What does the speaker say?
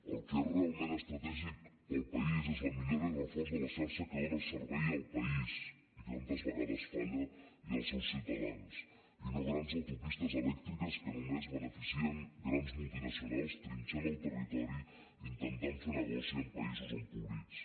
el que és realment estratègic per al país és la millora i reforç de la xarxa que dóna servei al país i que tantes vegades falla i als seus ciutadans i no grans autopistes elèctriques que només beneficien grans multinacionals trinxant el territori intentant fent negoci amb països empobrits